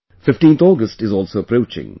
15th August is also approaching